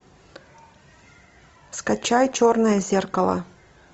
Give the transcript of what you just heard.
скачай черное зеркало